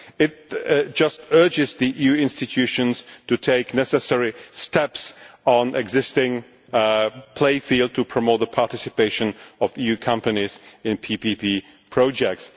that. It just urges the EU institutions to take the necessary steps on the existing playing field to promote the participation of EU companies in PPP projects.